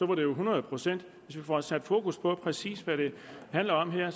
det jo hundrede procent hvis vi får sat fokus på præcis hvad det handler om her er